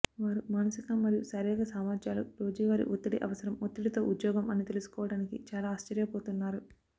వారు మానసిక మరియు శారీరక సామర్థ్యాలు రోజువారీ ఒత్తిడి అవసరం ఒత్తిడితో ఉద్యోగం అని తెలుసుకోవడానికి చాలా ఆశ్చర్యపోతున్నారు